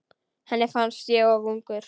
Henni fannst ég of ungur.